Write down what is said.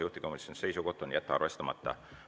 Juhtivkomisjoni seisukoht on jätta arvestamata.